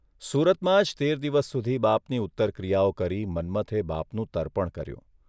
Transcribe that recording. સુરતમાં જ તેર દિવસ સુધી બાપની ઉત્તરક્રિયાઓ કરી મન્મથે બાપનું તર્પણ કર્યું